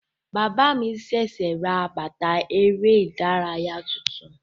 Bàbá mi sẹsẹ rà bàtà ère ìdárayá tuntun.